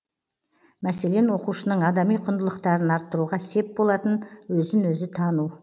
мәселен оқушының адами құндылықтарын арттыруға сеп болатын өзін өзі тану